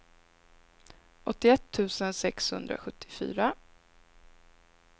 åttioett tusen sexhundrasjuttiofyra